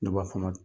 Ne b'a fɔ a ma